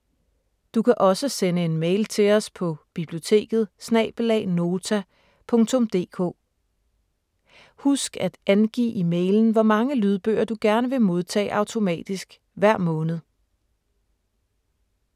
Du kan også sende en mail til os på: biblioteket@nota.dk Husk at angive i mailen, hvor mange lydbøger du gerne vil modtage automatisk hver måned.